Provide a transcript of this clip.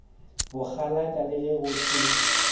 bokgalaka le ge go se